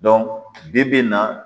bi-bi in na